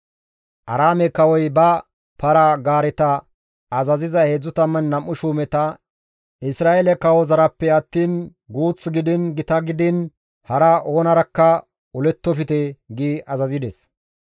Aaraame kawoy ba para-gaareta azaziza 32 shuumeta, «Isra7eele kawozarappe attiin guuth gidiin gita gidiin hara oonarakka olettofte» gi azazides.